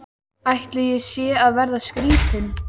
Ætli ég sé að verða skrýtin.